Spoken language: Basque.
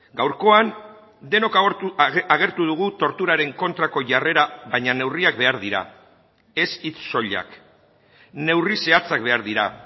gaurkoan denok agertu dugu torturaren kontrako jarrera baina neurriak behar dira ez hitz soilak neurri zehatzak behar dira